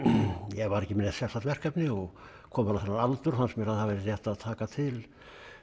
ég var ekki með neitt sérstakt verkefni og kominn á þennan aldur fannst mér að það væri rétt að taka til